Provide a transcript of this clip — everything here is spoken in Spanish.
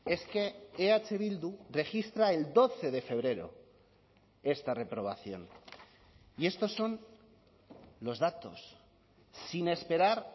es que eh bildu registra el doce de febrero esta reprobación y estos son los datos sin esperar